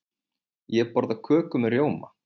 Ég borða köku með rjóma.